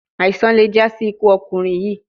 Aisan le ja si iku ọkunrin yii